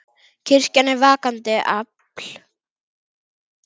Kirkjan er vakandi afl.